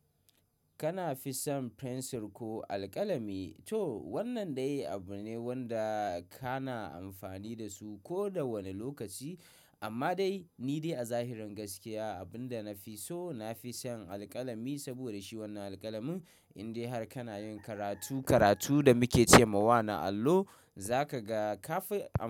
Kana fi son fensir ko alƙalami? Toh wannan dai abu ne wanda kana amfani da su ko da wani lokaci. Amma dai ni dai a zahirin gaskiya abin da na fi so, na fi son alƙalami saboda shi wannan alƙalamin in dai har kana yin karatu, karatu da muke ce ma wana allo za ka ga ka fi am.